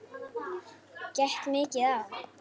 Gekk mikið á?